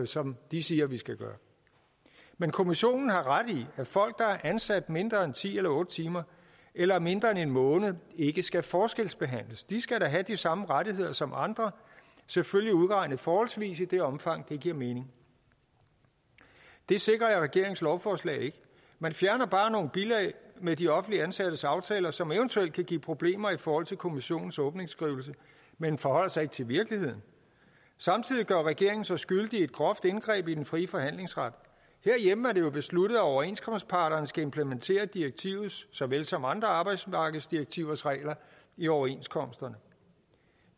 som de siger vi skal gøre men kommissionen har ret i at folk der er ansat mindre end ti eller otte timer eller mindre end en måned ikke skal forskelsbehandles de skal da have de samme rettigheder som andre selvfølgelig udregnet forholdsvis i det omfang det giver mening det sikrer regeringens lovforslag ikke man fjerner bare nogle bilag med de offentligt ansattes aftaler som eventuelt kan give problemer i forhold til kommissionens åbningsskrivelse men forholder sig ikke til virkeligheden samtidig gør regeringen sig skyldig i et groft indgreb i den frie forhandlingsret herhjemme er det jo besluttet at overenskomstparterne skal implementere direktivets såvel som andre arbejdsmarkedsdirektivers regler i overenskomsterne